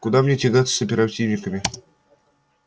куда мне тягаться с оперативниками